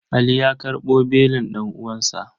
Ali ya karɓo belin ɗan'uwansa.